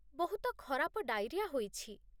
ବହୁତ ଖରାପ ଡାଇରିଆ ହୋଇଛି।